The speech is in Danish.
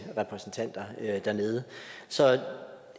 repræsentanter dernede så